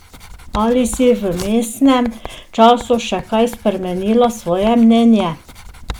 Ali si v vmesnem času še kaj spremenila svoje mnenje?